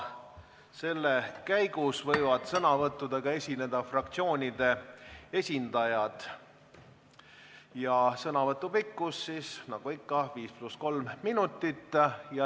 Selle käigus võivad sõnavõttudega esineda fraktsioonide esindajad ja sõnavõtu pikkus on nagu ikka 5 + 3 minutit.